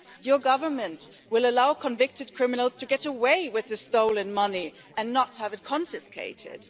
Your government will allow convicted criminals to get away with their stolen money and not have it confiscated.